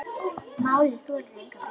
Málið þolir enga bið.